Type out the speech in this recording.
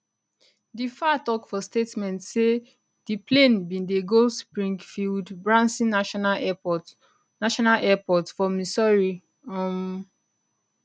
di faa tok for statement say di plane bin dey go springfieldbranson national airport national airport for missouri um